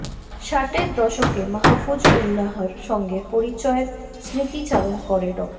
ষাটের দশকে মাহফুজ উল্লাহর সঙ্গে পরিচয়ের স্মৃতিচারণ করে ড